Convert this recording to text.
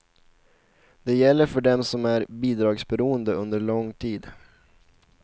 Det gäller för dem som är bidragsberoende under lång tid.